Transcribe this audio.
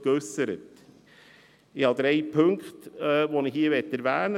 Ich möchte hier drei Punkte erwähnen.